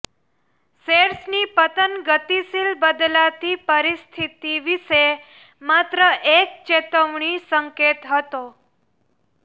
શેર્સની પતન ગતિશીલ બદલાતી પરિસ્થિતિ વિશે માત્ર એક ચેતવણી સંકેત હતો